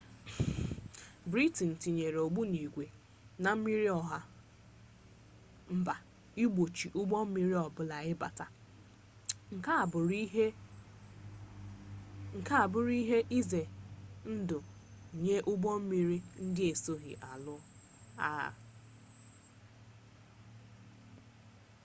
briten tinyere ogbunigwe na mmiri ọha mba igbochi ụgbọ mmiri ọbụla ịbata nke a abụrụ ihe ize ndụ nye ụgbọ mmiri ndị esoghi alụ agha